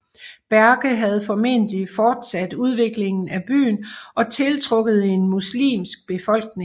Berke havde formentlig fortsat udviklingen af byen og tiltrukket en muslimsk befolkning